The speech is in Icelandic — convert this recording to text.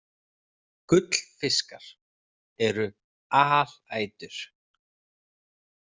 Gullfiskar eru alætur.